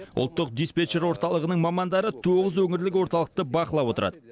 ұлттық диспетчер орталығының мамандары тоғыз өңірлік орталықты бақылап отырады